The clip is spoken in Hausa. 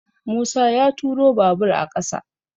Musa ya turo babur a ƙasa